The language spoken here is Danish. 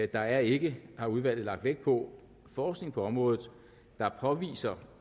der er ikke har udvalget lagt vægt på forskning på området der påviser